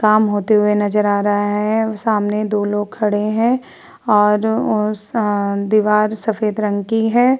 काम होते हुऐ नजर आ रहा है। सामने दो लोग खड़े हैं और उ आ दीवार सफ़ेद रंग की है।